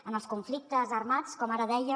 en els conflictes armats com ara deia